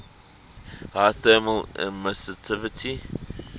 high thermal emissivity